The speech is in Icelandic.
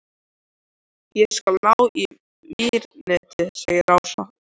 Ég skal ná í vírnetið segir Ása.